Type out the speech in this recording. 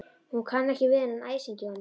Hún kann ekki við þennan æsing í honum.